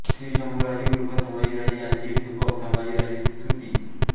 श्रीशंभूराजे उर्फ संभाजीराजे यांचे सुबक संभाजी राजे स्तुती